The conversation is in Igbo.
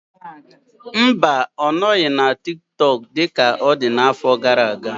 Mba, ọ nọghị na TikTok dị ka ọ dị n'afọ gara aga.